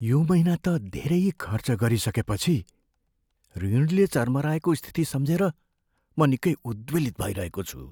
यो महिना त धेरै खर्च गरिसकेपछि ऋणले चर्मराएको स्थिति सम्झेर म निकै उद्वेलित भइरहेको छु।